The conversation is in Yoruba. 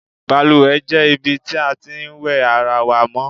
Balùwè jé̩ ibi tí a ti ń wè̩ ara wa mó̩.